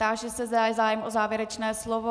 Táži se, zda je zájem o závěrečné slovo.